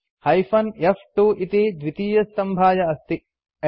hyphen F इति द्वितीयस्तम्भाय अस्ति